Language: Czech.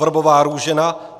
Vrbová Růžena